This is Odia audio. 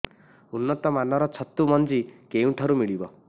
ଉନ୍ନତ ମାନର ଛତୁ ମଞ୍ଜି କେଉଁ ଠାରୁ ମିଳିବ